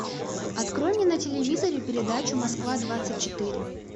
открой мне на телевизоре передачу москва двадцать четыре